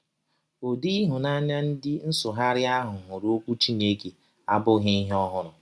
Ụdị ịhụnanya ndị nsụgharị a hụrụ Ọkwụ Chineke abụghị ihe ọhụrụ.